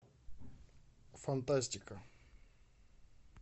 фантастика